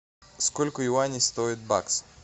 сколько юаней стоит бакс